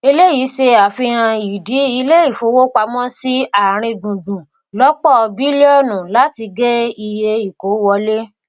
eléyìí se àfihàn ìdí ilé ifowópamọsí àárín gbùngbùn lòpọ bílíọnu láti gé iye ìkó wọlé